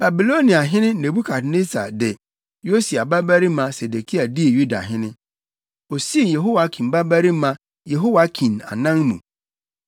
Babiloniahene Nebukadnessar de Yosia babarima Sedekia dii Yudahene; osii Yehoiakim babarima Yehoiakin anan mu.